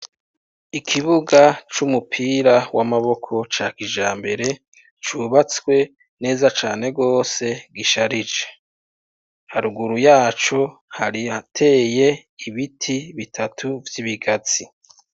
Ikibuga c'umupira w'amaboko ca kijambere cubatswe neza cane gose gisharije , haruguru yaco hari ahateye ibiti bitatu vy'ibigazi.